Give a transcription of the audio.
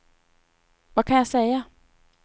vad kan jag säga